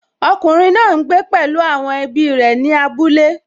Ọkùnrin náà n gbé pẹ̀lú àwọn ẹbí rẹ̀ ní abúlé